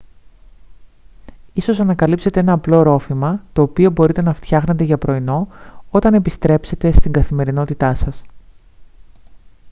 ίσως ανακαλύψετε ένα απλό ρόφημα το οποίο μπορείτε να φτιάχνετε για πρωινό όταν επιστρέψετε στην καθημερινότητά σας